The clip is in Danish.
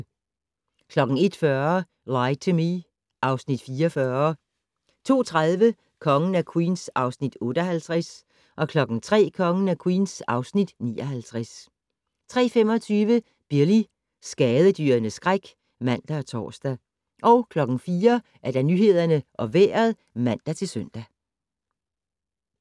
01:40: Lie to Me (Afs. 44) 02:30: Kongen af Queens (Afs. 58) 03:00: Kongen af Queens (Afs. 59) 03:25: Billy - skadedyrenes skræk (man og tor) 04:00: Nyhederne og Vejret (man-søn)